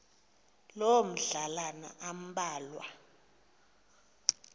loo madlalana ambalwa